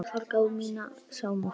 Þetta fólk á mína samúð.